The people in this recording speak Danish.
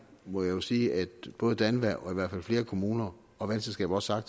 må jeg jo sige at både danva og i hvert fald flere kommuner og vandselskaber også har